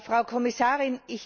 Frau Kommissarin!